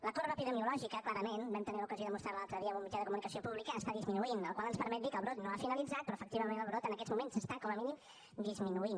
la corba epidemiològica clarament vam tenir l’ocasió de demostrar ho l’altre dia en un mitjà de comunicació públic està disminuint la qual cosa ens permet dir que el brot no ha finalitzat però efectivament el brot en aquests moments està com a mínim disminuint